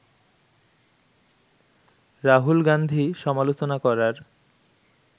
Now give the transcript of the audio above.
রাহুল গান্ধী সমালোচনা করার